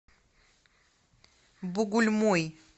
бугульмой